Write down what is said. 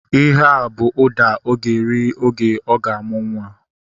Ihea bụ ụda ọ ga-eri oge ọ ga-amụ nwa